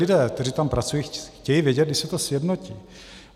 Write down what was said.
Lidé, kteří tam pracují, chtějí vědět, kdy se to sjednotí.